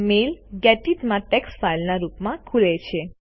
mail gedit માં text ફાઇલના રૂપમાં ખુલે છે